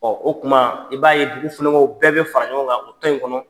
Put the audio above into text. o kuma i b'a ye dugu bɛɛ bɛ fara ɲɔgɔn kan u tɔ in kɔnɔ.